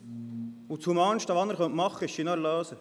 Das humanste, das er machen kann ist, sie zu erlösen.